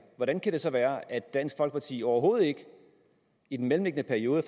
hvordan kan det så være at dansk folkeparti overhovedet ikke i den mellemliggende periode